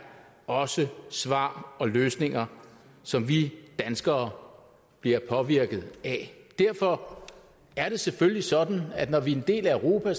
også svar og løsninger som vi danskere bliver påvirket af derfor er det selvfølgelig sådan at når vi er en del af europa